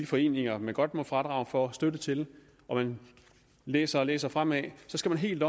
foreninger man godt må få fradrag for støtte til og man læser og læser fremad så skal man helt